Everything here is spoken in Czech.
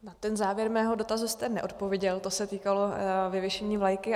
Na ten závěr mého dotazu jste neodpověděl, to se týkalo vyvěšené vlajky.